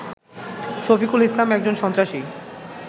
শফিকুল ইসলাম একজন সন্ত্রাসী